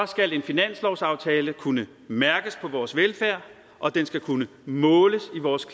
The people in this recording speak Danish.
skal en finanslovsaftale kunne mærkes på vores velfærd og den skal kunne måles i vores